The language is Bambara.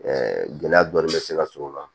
gɛlɛya dɔɔnin bɛ se ka sɔrɔ o la